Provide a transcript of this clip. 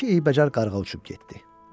iki eybəcər qarğa uçub getdi.